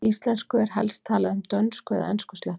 Í íslensku er helst talað um dönsku- eða enskuslettur.